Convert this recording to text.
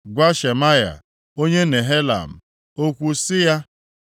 Gwa Shemaya onye Nehelam okwu sị ya,